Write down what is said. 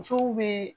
Musow be